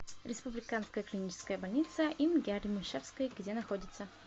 республиканская клиническая больница им гя ремишевской где находится